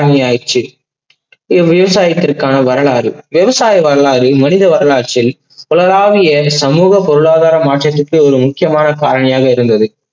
காரணியாற்று. இது விவசாயத்துக்கான வரலாறு விவசாய வரலாறு மனித வரலாற்றின் உலகளாவிய சமூக பொருளாதார மாற்றத்துக்கு முக்கியமான காரணியா இருந்தது.